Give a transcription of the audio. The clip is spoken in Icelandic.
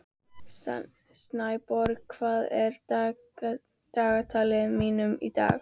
Snæborg, hvað er í dagatalinu mínu í dag?